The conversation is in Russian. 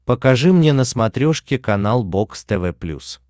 покажи мне на смотрешке канал бокс тв плюс